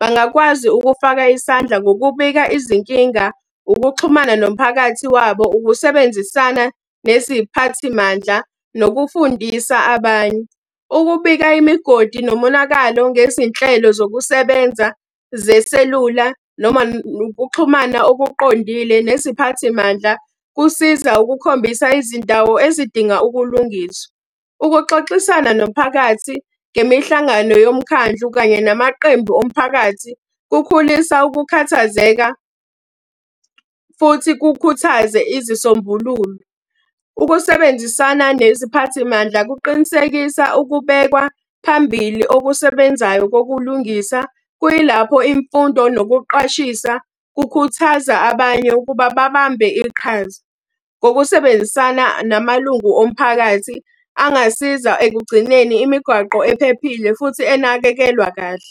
Bangakwazi ukufaka isandla ngokubika izinkinga, ukuxhumana nomphakathi wabo, ukusebenzisana neziphathimandla, nokufundisa abanye. Ukubika imigodi nomonakalo ngezinhlelo zokusebenza zeselula noma nokuxhumana okuqondile neziphathimandla, kusiza ukukhombisa izindawo ezidinga ukulungiswa. Ukuxoxisana nomphakathi ngemihlangano yomkhandlu kanye namaqembu omphakathi, kukhulisa ukukhathazeka, futhi kukhuthaze izisombululo. Ukusebenzisana neziphathimandla kuqinisekisa ukubekwa phambili okusebenzayo kokulungisa, kuyilapho imfundo nokuqwashisa kukhuthaza abanye ukuba babambe iqhaza. Ngokusebenzisana namalungu omphakathi angasiza ekugcineni imigwaqo ephephile futhi enakekelwa kahle.